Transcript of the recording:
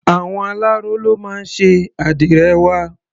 Àwọn aláró ló máa ń ṣe àdìrẹ wa.